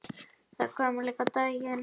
Það kom líka á daginn.